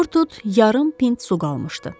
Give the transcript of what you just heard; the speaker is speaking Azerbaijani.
Vurtut yarım pint su qalmışdı.